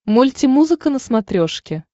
мульти музыка на смотрешке